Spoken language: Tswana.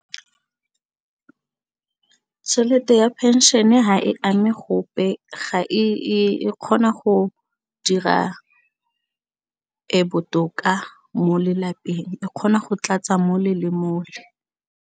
Tšhelete ya phenšene ha e ame gope ga e kgona go dira botoka mo lelapeng e kgona go tlatsa mole le mole.